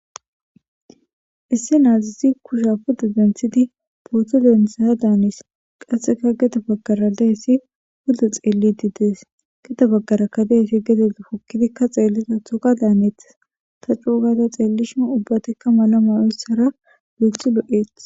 isse naazisi kusha puda denthidi pooththo densaya daanis qasseka geta baggara dahesi phuda xeellidi dees geta baggarakka dehesi gedeapokkidikka xeellida touka daaneethas ta cuugata xeellishu ubbatekka mala maoyssara biixxi lo7eet